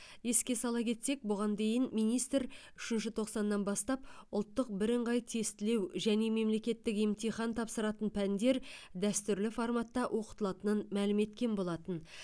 еске сала кетсек бұған дейін министр үшінші тоқсаннан бастап ұлттық біріңғай тестілеу және мемлекеттік емтихан тапсыратын пәндер дәстүрлі форматта оқытылатынын мәлім еткен болатын